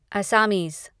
Assamese